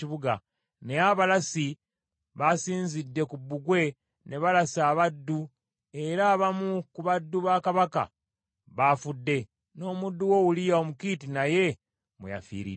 Naye abalasi basinzidde ku bbugwe ne balasa abaddu, era abamu ku baddu ba kabaka baafudde, n’omuddu wo Uliya Omukiiti naye mwe yafiiridde.”